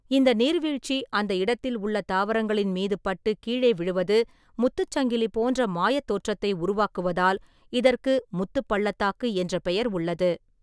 இந்த நீர்வீழ்ச்சி அந்த இடத்தில் உள்ள தாவரங்களின் மீது பட்டு கீழே விழுவது முத்துச் சங்கிலி போன்ற மாயத் தோற்றத்தை உருவாக்குவதால் இதற்கு முத்துப் பள்ளத்தாக்கு என்ற பெயர் உள்ளது.